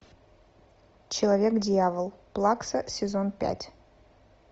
человек дьявол плакса сезон пять